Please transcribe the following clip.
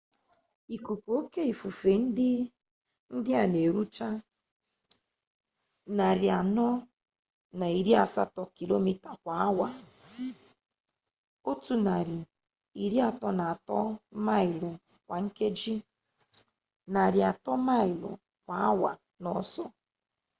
ikuku oke ifufe ndị a na-erucha 480 kilomita kwa awa 133 maịlụ kwa nkeji; 300 maịlụ kwa awa n'ọsọ